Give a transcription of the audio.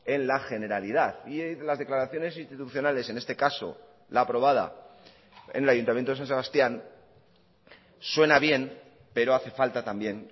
en la generalidad y las declaraciones institucionales en este caso la aprobada en el ayuntamiento de san sebastián suena bien pero hace falta también